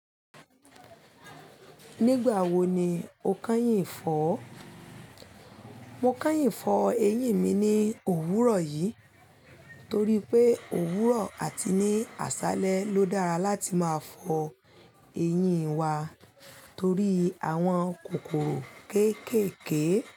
Nígbà wo ni o kányìn fọ́ọ̀? Mo kányìn fọ ẹyín mi ní òwúrọ̀ yìí torí pé òwúrọ̀ àti ní àṣálẹ́ ló dára láti máa fọ ẹyín wa torí àwọn kòkòrò kéékèèké.